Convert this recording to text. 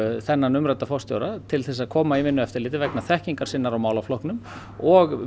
þennan umrædda forstjóra til þess að koma í Vinnueftirlitið vegna þekkingar sinnar á málaflokknum og